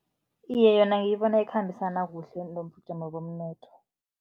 Iye, yona ngiyibona ikhambisana kuhle nobujamo bomnotho.